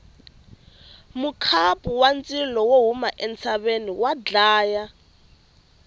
mukhapu wa ndzilo wo huma entshaveni wa dlaya